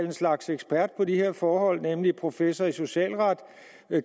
en slags ekspert på de her forhold nemlig professor i socialret